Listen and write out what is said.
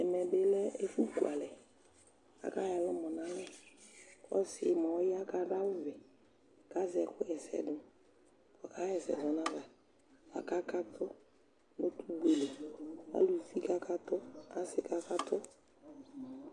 Ɛmɛ bɩ lɛ ɛfʋkualɛ kʋ akayɔ ɛlʋmɔ nʋ alɛ kʋ ɔsɩ yɛ mʋa, ɔya kʋ adʋ awʋvɛ kʋ azɛ ɛkʋɣa ɛsɛ dʋ kʋ ɔkaɣa ɛsɛ dʋ nʋ ayava kʋ kaka kʋ ʋtʋgbe li Aluvi kakatʋ, asɩ kakatʋ